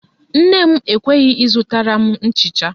Nne m ekweghị ịzụtara m nchịcha